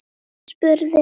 Jón spurði